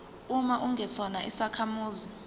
uma ungesona isakhamuzi